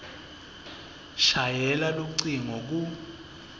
shayela lucingo ku